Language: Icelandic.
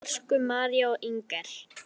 Elsku María og Inger.